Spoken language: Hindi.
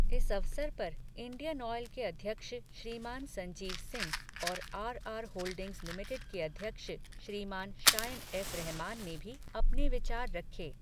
इस अवसर पर इंडियन ऑयल के अध्यक्ष श्रीमान संजीव सिंह और आरआर होल्डिंग्स लिमिटेड के अध्यक्ष श्रीमान शायन एफ. रहमान ने भी अपने विचार रखे।